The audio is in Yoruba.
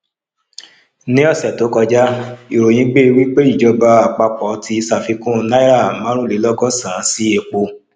ní ọsẹ tó kọjá ìròyìn gbé wípé ìjọba àpapọ ti ṣàfikún náírà marunlelogosan sí epo